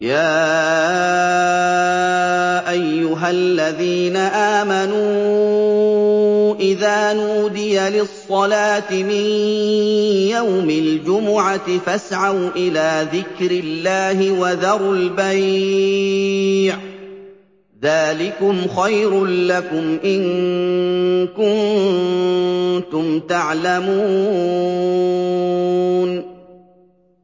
يَا أَيُّهَا الَّذِينَ آمَنُوا إِذَا نُودِيَ لِلصَّلَاةِ مِن يَوْمِ الْجُمُعَةِ فَاسْعَوْا إِلَىٰ ذِكْرِ اللَّهِ وَذَرُوا الْبَيْعَ ۚ ذَٰلِكُمْ خَيْرٌ لَّكُمْ إِن كُنتُمْ تَعْلَمُونَ